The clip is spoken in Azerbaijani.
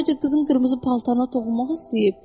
Sadəcə qızın qırmızı paltarına toxunmaq istəyib.